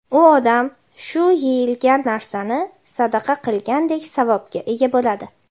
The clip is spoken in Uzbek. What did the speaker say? u odam shu (yeyilgan) narsani sadaqa qilgandek savobga ega bo‘ladi.